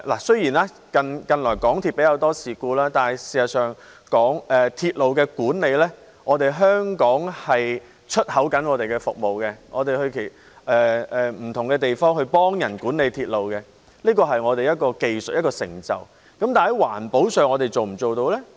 雖然近來港鐵出現較多事故，但事實上，就鐵路管理來說，香港正在輸出服務，我們到不同地方協助他人管理鐵路，這是我們的技術成就，但在環保上，我們是否做得到呢？